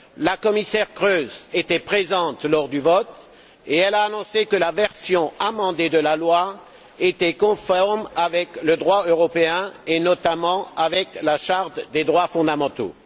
La commissaire Kroes était présente lors du vote et elle a annoncé que la version amendée de la loi était conforme avec le droit européen et notamment avec la charte des droits fondamentaux.